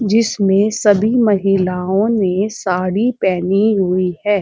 जिसमे सभी महिलााओ ने साड़ी पहनी हुई है।